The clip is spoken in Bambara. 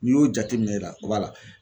N'i y'o jateminɛ o b'a la